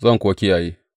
Zan kuwa kiyaye.’